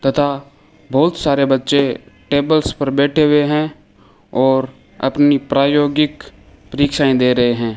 तथा बहुत सारे बच्चे टेबल्स पर बैठे हुए हैं और अपनी प्रायोगिक परीक्षाएं दे रहे हैं।